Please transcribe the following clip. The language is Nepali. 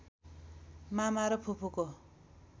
मामा र फुपूको